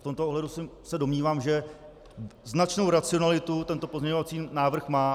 V tomto ohledu se domnívám, že značnou racionalitu tento pozměňovací návrh má.